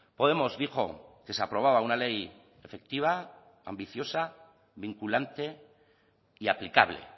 podemos dijo que se aprobaba una ley efectiva ambiciosa vinculante y aplicable